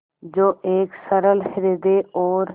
जो एक सरल हृदय और